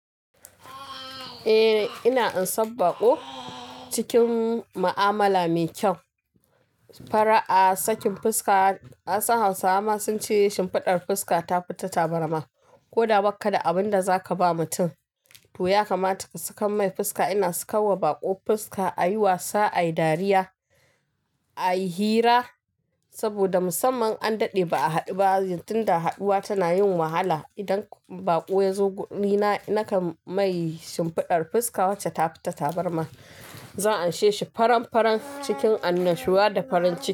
Eh ina ansan baƙo cikin ma'amala mai kyau. Fara'a sakin fuska. Nasan Hausawa ma sun ce "shimfiɗar fuska ta fi ta tabarma". Ko da bakka da abin da za ka ba mutum, to ya kamata ka saka mai fuska. Ina sakarwa baƙo fuska a yi wasa, a yi dariya, a yi hira saboda musamman an daɗe ba a haɗu ba. Tun da haɗuwa tana yin wahala. Idan baƙo ya zo guri na, nakan mai shimfiɗar fuska wacce ta fi ta tabarma. Zan amsheshi faran-faran cikin annashuwa da farin ciki.